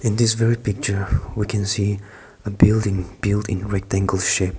in this picture we can see a building built in rectangular shape.